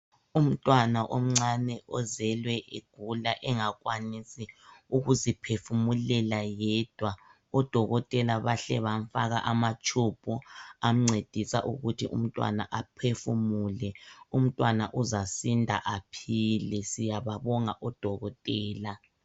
Umntwana omncane ozelwe egula engakwanisi ukuziphefumulela yedwa odokotela bahle bamfaka amatube amncedisa ukuthi umntwana aphefumule umntwana uzasinda aphile siyababonga odokotela.